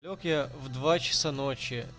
лёг я в два часа ночи